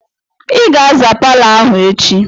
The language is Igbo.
I ga-aza palọ ahụ echi!